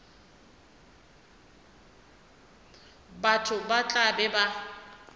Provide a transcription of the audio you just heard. batho ba tla be ba